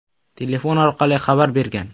telefon orqali xabar bergan.